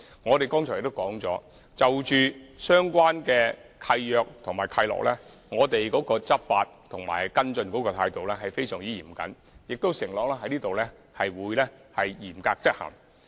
我們剛才也提及，就着相關的契約和契諾，我們會以非常嚴謹的態度去執法和跟進，並在此承諾會嚴格執行。